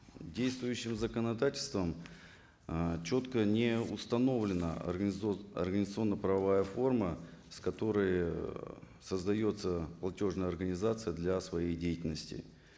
действующим законодательством ыыы четко не установлена организационно правовая форма с которой создается платежная организация для своей деятельности